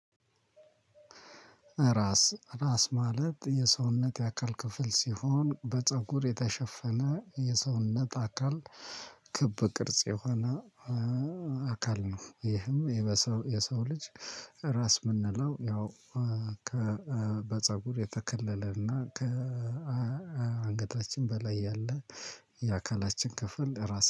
ራስ ራስ ማለት የሰውነት የአካል ክፍል ሲሆን በጸጉር የተሸፈነ የሰውነት አካል ክብ ቅርጽ የሆነ አካል ነው። ይህም የሰው የሰው ልጅ ራስ የምንለው ያው በፀጉር የተከለለና ከአንገታችን በላይ ያለ የአካላችን ክፍል ራስ